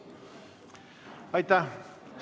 Aitäh!